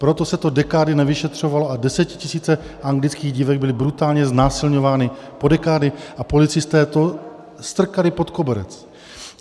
Proto se to dekády nevyšetřovalo a desetitisíce anglických dívek byly brutálně znásilňovány po dekády a policisté to strkali pod koberec.